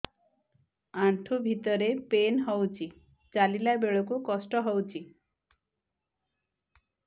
ଆଣ୍ଠୁ ଭିତରେ ପେନ୍ ହଉଚି ଚାଲିଲା ବେଳକୁ କଷ୍ଟ ହଉଚି